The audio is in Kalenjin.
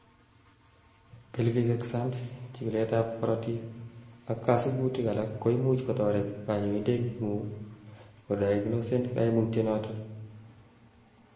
pelvic exams, chikilet ab korotik ak kasubutik alak koimuch kotoret kanyoindetngung kodiagnosen kaimutyonotet